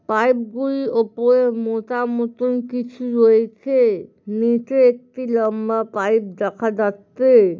পাইপগুলোর উপরে মোটা মতন কিছু রয়েছে। নীচে একটি লম্বা পাইপ দেখা যাচ্ছে।